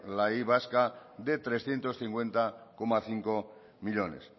la y vasca de trescientos cincuenta coma cinco millónes